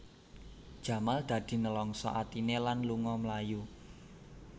Jamal dadi nlangsa atiné lan lunga mlayu